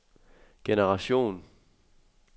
generation